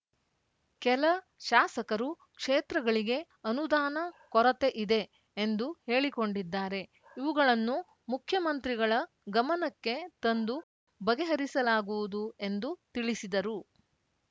ಕೆಲ ಶಾಸಕರು ಕ್ಷೇತ್ರಗಳಿಗೆ ಅನುದಾನ ಕೊರತೆ ಇದೆ ಎಂದು ಹೇಳಿಕೊಂಡಿದ್ದಾರೆ ಇವುಗಳನ್ನು ಮುಖ್ಯಮಂತ್ರಿಗಳ ಗಮನಕ್ಕೆ ತಂದು ಬಗೆಹರಿಸಲಾಗುವುದು ಎಂದು ತಿಳಿಸಿದರು